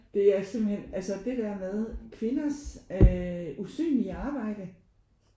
Det er simpelthen altså det der med kvinders øh usynlige arbejde